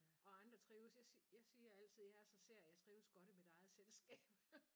Og andre trives jeg si jeg siger altid jeg er så sær jeg trives godt i mit eget selskab